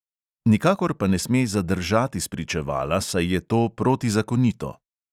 Nikakor pa ne sme zadržati spričevala, saj je to protizakonito.